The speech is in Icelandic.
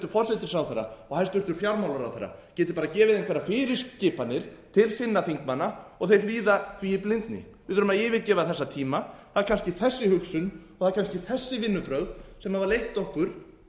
forsætisráðherra og hæstvirtur fjármálaráðherra geti bara gefið einhverjar fyrirskipanir til sinna þingmanna og þeir hlýða því í blindni við þurfum að yfirgefa þessa tíma það er kannski þessi hugsun og það eru kannski þessi vinnubrögð sem hafa leitt okkur